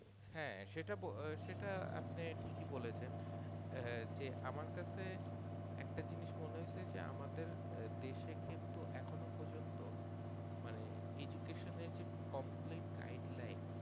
হ্যাঁ সেটা বল সেটা আপনি ঠিকই বলেছেন আহ যে আমার কাছে একটা জিনিস মনে হইছে যে আমাদের দেশে কিন্তু এখনো পর্যন্ত মানে education এর যে complete guidlines